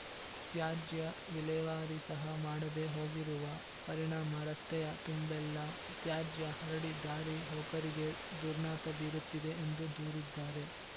ತ್ಯಾಜ್ಯ ವಿಲೇವಾರಿ ಸಹ ಮಾಡದೆ ಹೋಗಿರುವ ಪರಿಣಾಮ ರಸ್ತೆಯ ತುಂಬೆಲ್ಲಾ ತ್ಯಾಜ್ಯ ಹರಡಿ ದಾರಿ ಹೋಕರಿಗೆ ದುರ್ನಾತ ಬೀರುತ್ತಿದೆ ಎಂದು ದೂರಿದ್ದಾರೆ